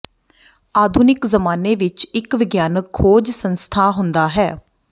ਆਧੁਨਿਕ ਜ਼ਮਾਨੇ ਵਿਚ ਇੱਕ ਵਿਗਿਆਨਕ ਖੋਜ ਸੰਸਥਾ ਹੁੰਦਾ ਹੈ